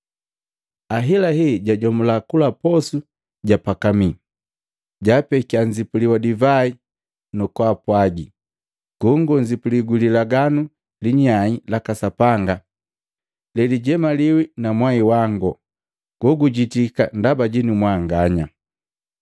Ahelahe ejajomula kula posu japakamii, jaapekiya nzipuli wa divai nu kupwaaga, “Gongo nzipuli gu lilaganu linyai laka Sapanga lelijemaliwi na mwai wango, gogujitika ndaba jinu mwanganya.